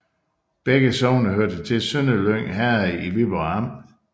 Begge sogne hørte til Sønderlyng Herred i Viborg Amt